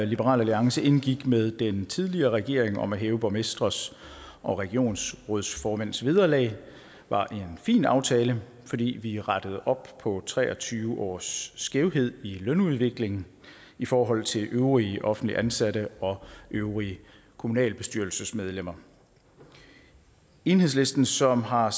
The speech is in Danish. liberal alliance indgik med den tidligere regering om at hæve borgmestres og regionsrådsformænds vederlag var en fin aftale fordi vi rettede op på tre og tyve års skævhed i lønudvikling i forhold til øvrige offentligt ansatte og øvrige kommunalbestyrelsesmedlemmer enhedslisten som har